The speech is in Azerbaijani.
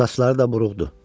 Saçları da buruqdu.